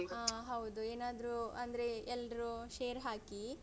ಅಹ್ ಹೌದು ಏನಾದ್ರು ಅಂದ್ರೆ ಎಲ್ರು share ಹಾಕಿ.